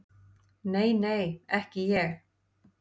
Nei, nei, ekki ég.